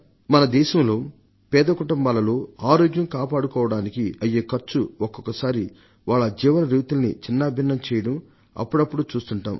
మన దేశంలో బీద కుటుంబాలలో ఆరోగ్యం కాపాడుకోవడానికి అయ్యే ఖర్చు ఒక్కొక్క సారి వాళ్ల జీవన రీతుల్ని ఛిన్నభిన్నం చేయడం అప్పుడప్పుడూ చూస్తుంటాం